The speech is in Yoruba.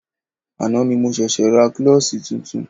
Àná ni mo ṣẹ̀ṣė ra klọ́ṣí tuntun.